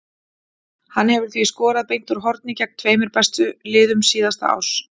Hann hefur því skorað beint úr horni gegn tveimur bestu liðum síðasta árs.